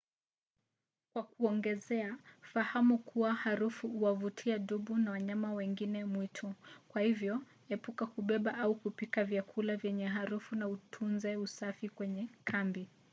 kwa kuongezea fahamu kuwa harufu huwavutia dubu na wanyama wengine mwitu kwa hivyo epuka kubeba au kupika vyakula vyenye harufu na utunze usafi kwenye kambi